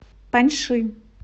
паньши